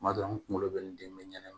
Kuma dɔ la n kunkolo bɛ n den bɛɛ ɲɛnɛ